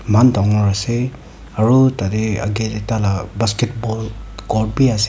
man dangor ase aro tateh agey teh taila basketball court bi ase--